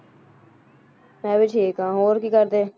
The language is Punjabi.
ਮੈਂ ਵੀ ਠੀਕ ਹਾਂ, ਹੋਰ ਕੀ ਕਰਦੇ?